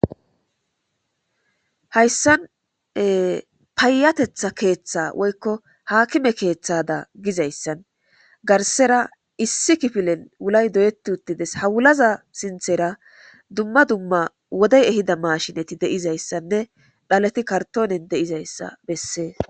Hayisan payatetha ketha woyiko akime kethada gidayisadan garisara issi kifilen wulay doyet utides ha wulaza sinithera duma duma wodey ehida mashiney ehizayisane dhaleti karitone dizayisa beses